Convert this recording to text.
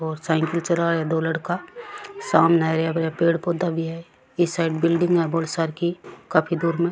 और साइकल चलावे दो लड़का सामन हरा पेड़ पौधा भी है ई साइड बिलडिंग है बोली सारकी काफी दूर में।